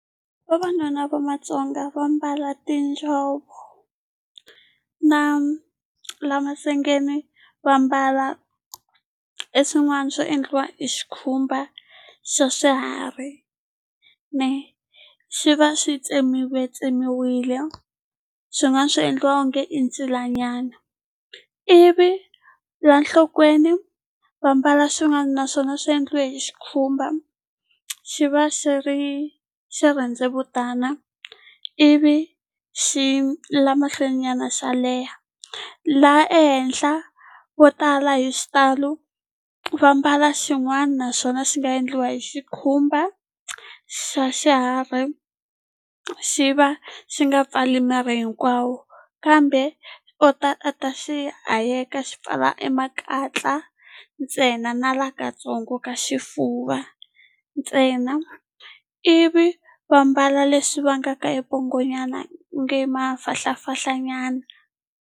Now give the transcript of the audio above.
Vavanuna va Matsonga va mbala tinjhovo na la masengni va mbala e swin'wana swo endliwa hi xikhumba xa swiharhi swi va swi tsemiwe tsemiwile swi nga swi endliwa onge e ncila nyana ivi la nhlokweni va mbala swin'wana naswona swi endliwe hi xikhumba xi va xi ri xirhendzevutana ivi xi le mahlweni nyana xo leha laha ehenhla vo tala hi xitalo va mbala xin'wana naxona xi nga endliwa hi xikhumba xa xiharhi xi va xi nga pfali miri hinkwawo kambe u ta a ta xi hayeka xi pfala e makatla ntsena na la katsongo ka xifuva ntsena ivi va mbala leswi vangaka e pongo nyana nge i mafahlafahlanyana.